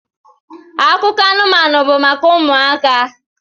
Akụkọ anụmanụ bụ maka ụmụaka